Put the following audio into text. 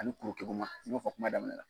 Ani kuru keguma n y'o fɔ kuma daminɛ na.